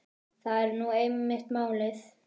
Það er nú einmitt málið.